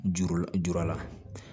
Juru juru la